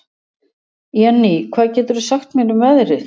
Jenný, hvað geturðu sagt mér um veðrið?